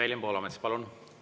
Evelin Poolamets, palun!